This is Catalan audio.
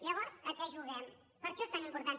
llavors a què juguem per això és tan important